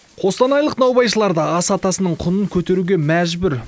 қостанайлық наубайшылар да ас атасының құнын көтеруге мәжбүр